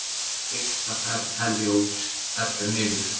Fyrsta ferð Herjólfs fellur niður